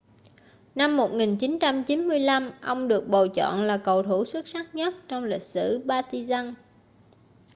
năm 1995 ông được bầu chọn là cầu thủ xuất sắc nhất trong lịch sử partizan